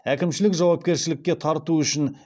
әкімшілік жауапкершілікке тарту үшін